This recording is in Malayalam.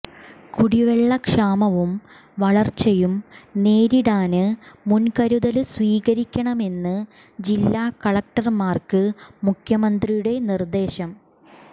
കുടിവെള്ള ക്ഷാമവും വരള്ച്ചയും നേരിടാന് മുന്കരുതല് സ്വീകരിക്കണമെന്ന് ജില്ലാ കളക്ടര്മാര്ക്ക് മുഖ്യമന്ത്രിയുടെ നിര്ദേശം